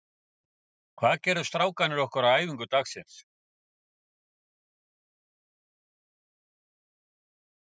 Hvað gerðu strákarnir okkar á æfingu dagsins?